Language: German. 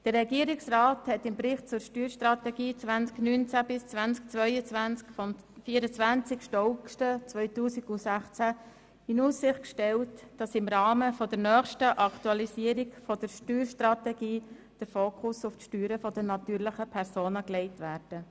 Der Regierungsrat hat im Bericht zur Steuerstrategie 2019–2022 vom 24. August 2016 in Aussicht gestellt, dass im Rahmen der nächsten Aktualisierung der Steuerstrategie der Fokus auf die Steuern der natürlichen Personen gelegt werde.